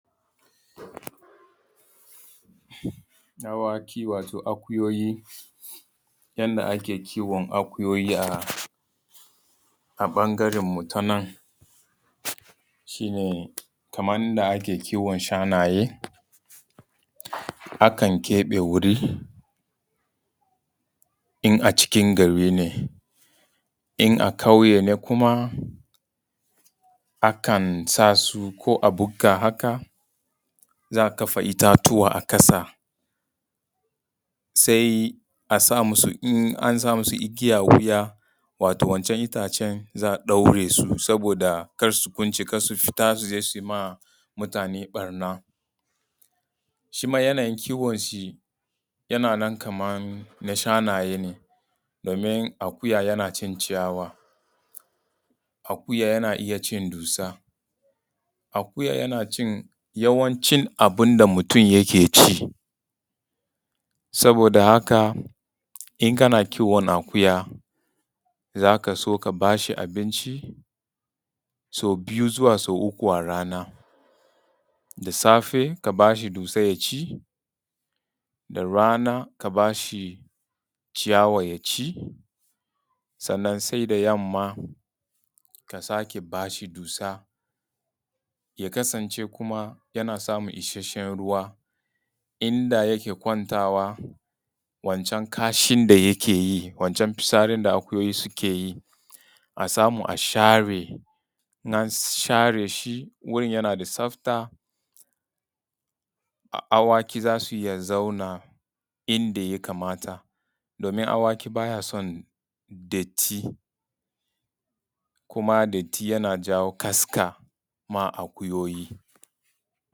Dawaki wato akuyoyi. Yanda ake kiwon akuyoyi a ɓangaren mu ta nan shi ne kamar yanda ake kiwon shanaye, akan keɓe wuri in a cikin gari ne. In a ƙauye ne kuma akan sa su ko a bukka haka, za a kafa itatuwa a ƙasa, sai a sa musu igiya, in an sa musu igiya a wuya wato wancan itacen za a ɗaure su saboda karsu kwance, kar su fita su je su yi ma mutane ɓarna. Shi ma yanayin kiwon shi yana nan kaman na shanaye ne domin akuya yana cin ciyawa, akuya yana iya cin dussa, akuya yana cin yawanci abun da mutum yake ci, saboda haka in kana kiwon akuya za ka so kana ba shi abinci sau biyu, zuwa sau uku a rana. Da safe ka ba shi dussa ya ci da rana ka ba shi ciyawa ya ci, sannan sai da yamma ka sake ba shi dussa. Ya kasance kuma yana samun ishasshen ruwa inda yake kwantawa wancan kashin da yake yi wancan fitsarin da akuyoyi suke yi a samu a share, in an share shi, wurin yana da tsafta a awaki za su iya zauna inda ya kamata domin a waki baya son datti, kuma datti yana jawo kaska ma akuyoyi.